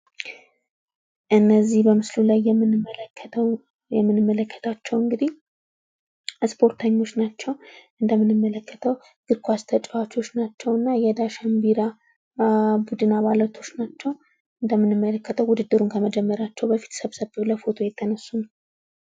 እነዚህ በምስሉ የምንመለከታቸው እንግድህ ስፖርተኞች ናቸው። እንደምንመለከተው የእግር ኳስ ተጫዋቾች ናቸው። የዳሽን ቢራ ቡድን አባላት ናቸው። እንደምንመለከተው ውድድሩን ከመጀመራቸው በፊት ሰብሰብ ብለው ፎቶ እየተነሱ ነው።